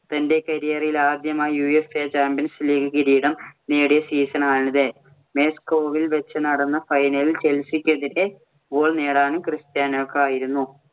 തൻ്റെ career ഇലാദ്യമായി UEFA Champions League കിരീടം നേടിയ season ആണിത്. മോസ്കോവിൽ വെച്ച് നടന്ന final ഇല്‍ ചെൽസിക്കെതിരെ goal നേടാനും ക്രിസ്റ്റ്യാനോയ്ക്കായിരുന്നു.